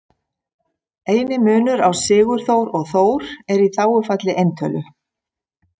Eini munur á Sigurþór og Þór er í þágufalli eintölu.